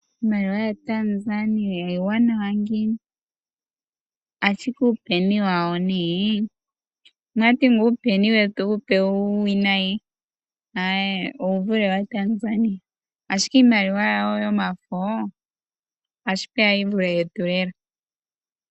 Iimaliwa yaTanzania iiwanawa ano ngiini ashike uupeni wawo nee omwati ngaa uupeni wetu uupe uuwinayi owuvule waTanzania ashike iimaliwa yawo yomafo ashipeya yivule yetu lela.